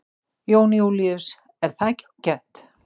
Jón Júlíus: Er það ekki ágætt?